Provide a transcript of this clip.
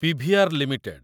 PVR limited